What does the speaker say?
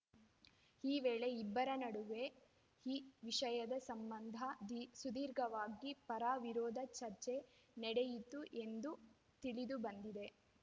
ಈ ವೇಳೆ ಇಬ್ಬರ ನಡುವೆ ಈ ವಿಷಯದ ಸಂಬಂಧ ದಿ ಸುದೀರ್ಘವಾಗಿ ಪರವಿರೋಧ ಚರ್ಚೆ ನಡೆಯಿತು ಎಂದು ತಿಳಿದುಬಂದಿದೆ